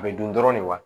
A bɛ dun dɔrɔn de wa